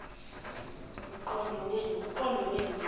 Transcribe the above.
mqondo wenu zingane